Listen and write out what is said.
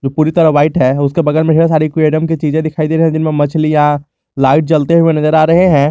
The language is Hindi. पुरी तरह व्हाइट है उसके बगल में ढेर सारी क्वीडम की चीजे दिखाई दे रही है जिनमे मछलियां लाइट जलते हुए नजर आ रहे हैं।